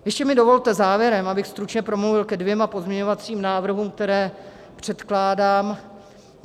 Ještě mi dovolte závěrem, abych stručně promluvil ke dvěma pozměňovacím návrhům, které předkládám.